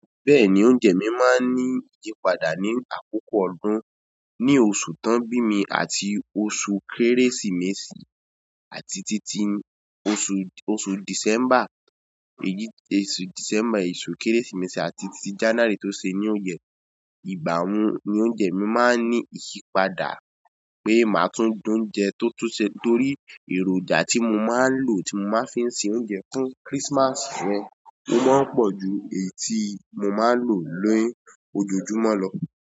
Bẹ́ẹ̀ni, oúnjẹ mi máa ń ní ìyípadà ní àkókò ọdún, ní oṣù tań bími àti oṣù Kérésìmesì àti títí oṣù, oṣù Dìsẹ́mbà, èyí, oṣù Dìsẹ́mbà, oṣù Kérésìmesì àti títí Jánárì tó se new year. Ìgbà wọ́n ni oúnjẹ mi máa ń ní ìyípadà pé màá tún dùn oúnjẹ tó tó ṣe torí èròjà tí mo máa ń lò tí mo máa ń fi ń ṣe oúnjẹ fún Christmas rẹ, ó máa ń po ju èyí tí mo máa ń lò lóyún ojojúmọ́ lọ.